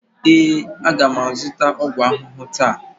ee, a ga m azụta ọgwụ ahụhụ taa.